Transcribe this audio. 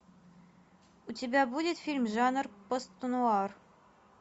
у тебя будет фильм жанр постнуар